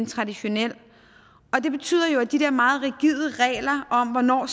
traditionelle og det betyder jo at de der meget rigide regler om hvornår